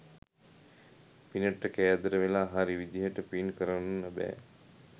පිනට කෑදර වෙලා හරි විදිහට පින් කරන්න බෑ